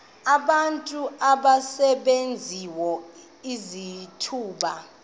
abantu abangasebenziyo izithuba